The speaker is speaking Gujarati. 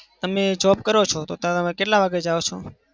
તમે job કરો છો તો ત્યાં તમે કેટલા વાગે જાઓ છો?